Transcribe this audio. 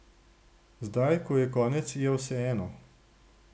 Zdaj, ko je konec, je vseeno.